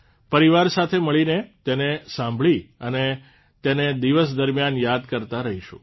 પરિવાર સાથે મળીને તેને સાંભળી અને તેને દિવસ દરમિયાન યાદ કરતાં રહીશું